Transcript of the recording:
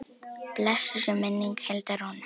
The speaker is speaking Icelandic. Blessuð sé minning Hildar Rúnu.